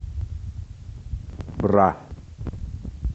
бра